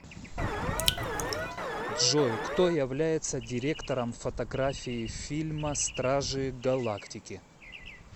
джой кто является директором фотографии фильма стражи галактики